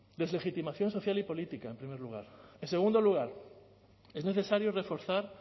deslegitimación social y política en primer lugar en segundo lugar es necesario reforzar